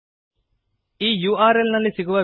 ಈ URLನಲ್ಲಿ ಸಿಗುವ ವಿಡಿಯೋ ಅನ್ನು ನೋಡಿ